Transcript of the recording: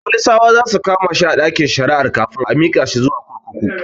Folisawa zasu kama shi a ɗakin shari'ar kafin a mika shi zuwa kurkuku